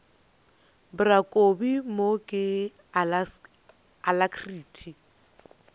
bra kobi mo ke alacrity